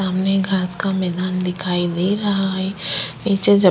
सामने घास का मैदान दिखाई दे रहा है पीछे जो --